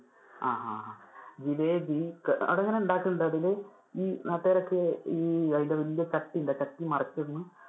ആ ആ ആ ജിലേബി അത് ഇങ്ങനെ ഉണ്ടാകുന്നുണ്ട്, അതില് ഈ നാട്ടുകാരൊക്കെ ഈ അതിന്‍ടെ വലിയ ചട്ടി ഉണ്ട് ആ ചട്ടി മറിച്ചിടുന്നു